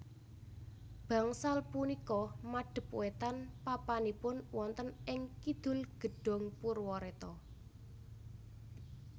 Bangsal punika madep wétan papanipun wonten ing Kidul Gedhong Purwaretna